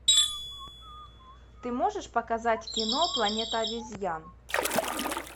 ты можешь показать кино планета обезьян